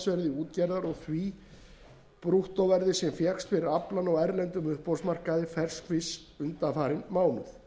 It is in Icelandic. útgerðar og því brúttóverði sem fékkst fyrir fiskinn á erlendum uppboðsmarkaði ferskfisks undanfarinn mánuð verði meiri munur